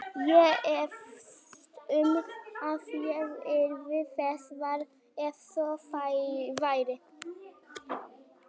Ég efast um að ég yrði þess var, ef svo væri